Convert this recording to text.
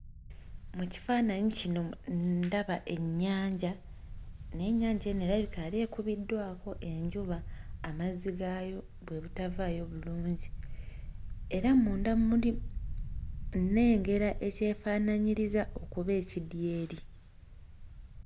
Mu kifaananyi kino mu ndaba ennyanja naye ennyanja eno erabika yali ekubiddwako enjuba amazzi gaayo bwe butavaayo bulungi era munda muli nnengera ekyefaanaanyiriza okuba ekidyeri.